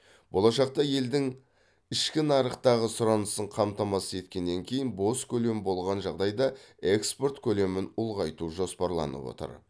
болашақта елдің ішкі нарықтағы сұранысын қамтамасыз еткеннен кейін бос көлем болған жағдайда экспорт көлемін ұлғайту жоспарланып отыр